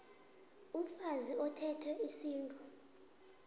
umfazi othethwe isintu